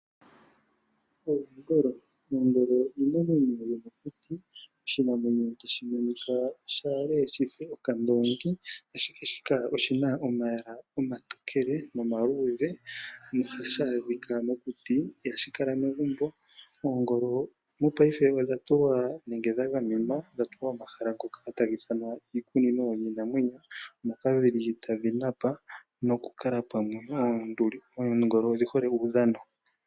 Oongolo oyo iinamwenyo yomokuti ndjoka hayi monika yafa uundongi, ashike oongolo odhina omalwaala gaali, omatokele nomaluudhe no hashaadhika mokuti ihashi kala megumbo. Oongolo odha tulwa moshikunino shiinamwenyo mono dhili dha gamenwa no hadhi kala tadhi napa omwiidhi dhili pamwe , oongolo odhi hole uudhano.